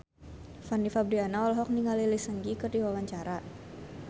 Fanny Fabriana olohok ningali Lee Seung Gi keur diwawancara